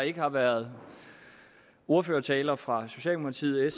ikke har været ordførertaler fra socialdemokratiet